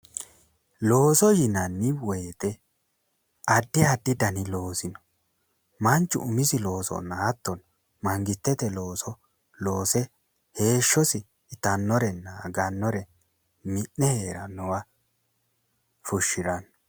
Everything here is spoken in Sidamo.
Looso yinani woyte addi addi dani loosi no, manchu umisi loonsona hatono mangstete looso loose heeshosi itanorena aganore mi'ne heerannowa fushirawo